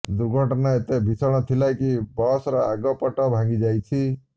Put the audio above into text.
ଦୁର୍ଘଟଣା ଏତେ ଭୀଷଣ ଥିଲା କି ବସର ଆଗ ପଟ ଭାଙ୍ଗିଯାଇଛି